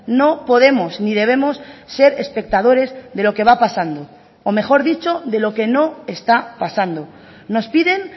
no podemos ni debemos ser espectadores de lo que va pasando o mejor dicho de lo que no está pasando nos piden